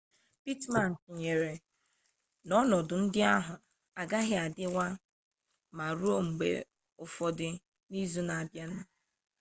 pittman tụnyere n'ọnọdụ ndị ahụ agaghị adịwa mma ruo mgbe ụfọdụ n'izu na-abịanụ